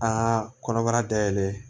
Aa kɔnɔbara dayɛlɛn